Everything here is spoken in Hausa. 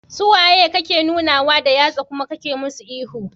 Suwa kake nunawa da yatsa kuma kana musu ihu?